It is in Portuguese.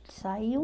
Ele saiu.